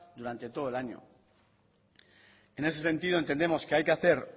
durante todo el año en ese sentido entendemos que hay que hacer